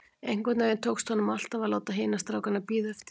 Einhvern veginn tókst honum alltaf að láta hina strákana bíða eftir sér.